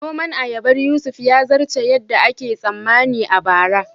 Noman ayabar Yusuf ya zarce yadda ake tsammani a bara